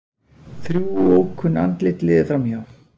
Þrjú ókunn andlit liðu framhjá.